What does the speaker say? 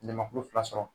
Jamakulu fila sɔrɔ